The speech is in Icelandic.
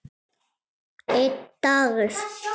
Einn dagur!